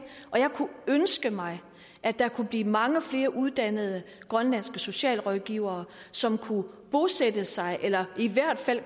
jeg kunne ønske mig at der kunne blive mange flere uddannede grønlandske socialrådgivere som kunne bosætte sig eller i hvert fald